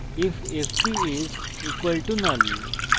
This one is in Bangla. if fp is equals to null